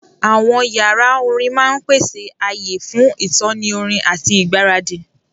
Àwọn yàrá orin máa ń pèsè ààyè fún ìtọ́ni orin àti ìgbáradì.